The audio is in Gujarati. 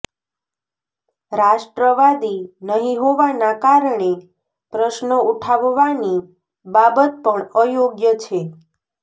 રાષ્ટ્રવાદી નહીં હોવાના કારણે પ્રશ્નો ઉઠાવવાની બાબત પણ અયોગ્ય છે